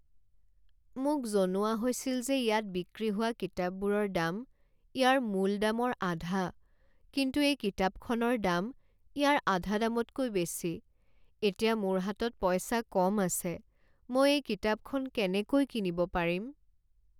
মোক জনোৱা হৈছিল যে ইয়াত বিক্ৰী হোৱা কিতাপবোৰৰ দাম ইয়াৰ মূল দামৰ আধা কিন্তু এই কিতাপখনৰ দাম ইয়াৰ আধা দামতকৈ বেছি। এতিয়া মোৰ হাতত পইচা কম আছে, মই এই কিতাপখন কেনেকৈ কিনিব পাৰিম?